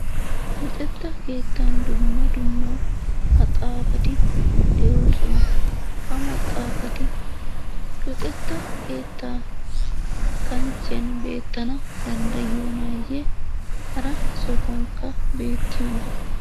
Luxetta keettan dumma dumma maxaafati de'oosona. Ha maxaafati luxetta keettaa kanchchiyan beettana danddatiyonayye? Hara sohuwankka beetiyoona?